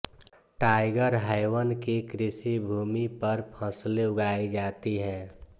tiger Haven की कृषिभूमि पर फ़सलें उगाई जाती हैं